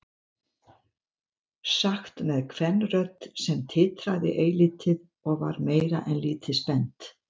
Sagt með kvenrödd sem titraði eilítið og var meira en lítið spennt.